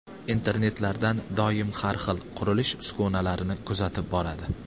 Internetlardan doim har xil, qurilish uskunalarini kuzatib boradi.